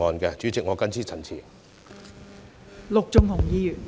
代理主席，我謹此陳辭。